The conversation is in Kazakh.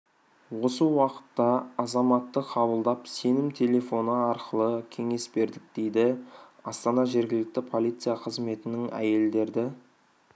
осы уақытта азаматты қабылдап сенім телефоны арқылы кеңес бердік дейді астана жергілікті полиция қызметінің әйелдерді